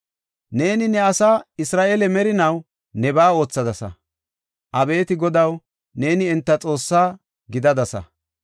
Neeni ne asaa Isra7eele merinaw nebaa oothadasa. Abeeti Godaw, neeni enta Xoosse gidadasa.